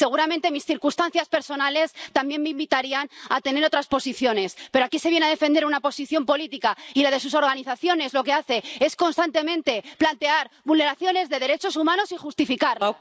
Seguramente mis circunstancias personales también me invitarían a tener otras posiciones, pero aquí se viene a defender una posición política, y la de sus organizaciones lo que hace es constantemente plantear vulneraciones de derechos humanos y justificarlas.